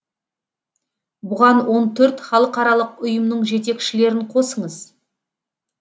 бұған он төрт халықаралық ұйымның жетекшілерін қосыңыз